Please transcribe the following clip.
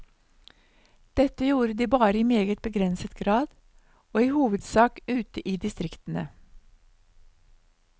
Dette gjorde de bare i meget begrenset grad, og i hovedsak ute i distriktene.